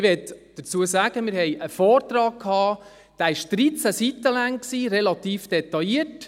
Dazu möchte ich sagen: Wir haben einen Vortrag gehabt, der 13 Seiten lang war, relativ detailliert;